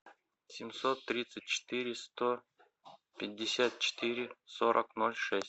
семьсот тридцать четыре сто пятьдесят четыре сорок ноль шесть